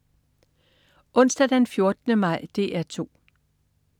Onsdag den 14. maj - DR 2: